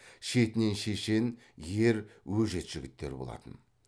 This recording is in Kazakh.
шетінен шешен ер өжет жігіттер болатын